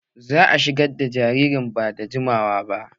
Za'a shigar da jaririn ba da jimawa ba